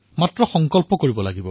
কেৱল সংকল্প গ্ৰহণ কৰিব লাগে